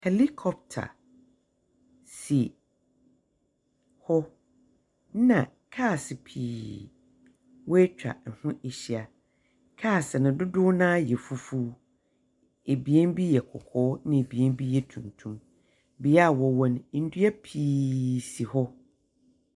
Helicopter si hɔ, ɛnna kaase pii woetwa ho ehyia. Kaase no dodoɔ no ara yɛ fufuw. Ebien bi yɛ kɔkɔɔ, ɛnna ebien bi yɛ tuntum. Bea a wɔwɔ no, ndua pii si hɔ.